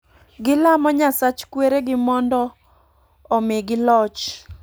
Gilamo nyasach kwere gi omdo omigi loch